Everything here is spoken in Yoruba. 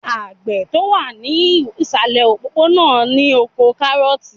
Àgbẹ̀ tó wà ní ìsàlẹ̀ òpópó-ònà náà ní oko kárọ̀ọ̀tì